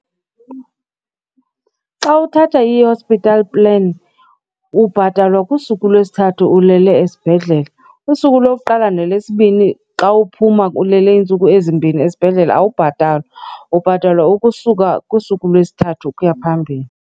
Xa uthatha i-hospital plan ubhatalwa kusuku lwesithathu ulele esibhedlele. Usuku lokuqala nalesibini xa uphuma ulele iintsuku ezimbini esibhedlele awubhatalwa. Ubhatalwa ukusuka kusuku lwesithathu ukuya phambili.